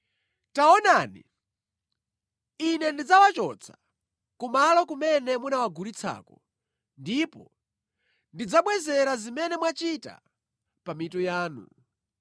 “Taonani, Ine ndidzawachotsa kumalo kumene munawagulitsako, ndipo ndidzabwezera zimene mwachita pa mitu yanu.